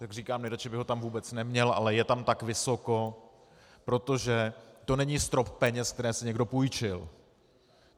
Jak říkám, nejradši bych ho tam vůbec neměl, ale je tam tak vysoko, protože to není strop peněz, které si někdo půjčil.